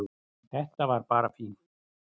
Þetta var bara fínt